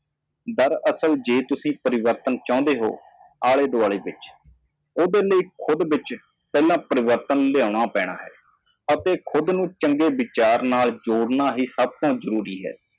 ਪਰ ਜੇਕਰ ਤੁਸੀਂ ਬਦਲਾਅ ਚਾਹੁੰਦੇ ਹੋ ਆਲੇ-ਦੁਆਲੇ ਤੇ ਆਪਣੇ ਆਪ ਵਿੱਚ ਉਸਦੇ ਲਈ ਪਹਿਲਾਂ ਬਦਲਣਾ ਚਾਹੀਦਾ ਹੈ ਅਤੇ ਆਪਣੇ ਆਪ ਨੂੰ ਚੰਗੇ ਵਿਚਾਰਾਂ ਨਾਲ ਜੋੜਨਾ ਸਭ ਤੋਂ ਜ਼ਰੂਰੀ ਹੈ